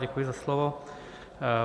Děkuji za slovo.